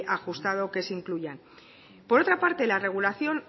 ajustado que se incluyan por otra parte la regulación